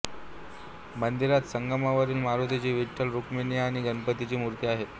मंदिरात संगमरवरी मारुतीची विठ्ठल रुक्मिणी आणि गणपती ची मूर्ति आहे